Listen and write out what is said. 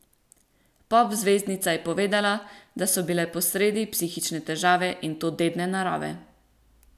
Pop zvezdnica je povedala, da so bile posredi psihične težave, in to dedne narave.